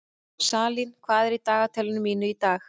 Salín, hvað er í dagatalinu mínu í dag?